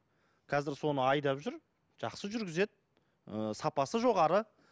қазір соны айдап жүр жақсы жүргізеді ыыы сапасы жоғары